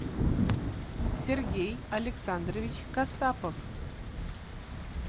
сергей александрович касапов